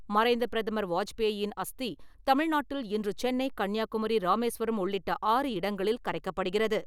மறைந்த பிரதமர் வாஜ்பேயி-யின் அஸ்தி தமிழ்நாட்டில் இன்று சென்னை, கன்னியாகுமரி, ராமேஸ்வரம் உள்ளிட்ட ஆறு இடங்களில் கரைக்கப்படுகிறது.